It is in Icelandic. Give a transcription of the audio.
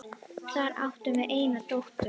Þar áttum við eina dóttur.